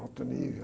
Alto nível.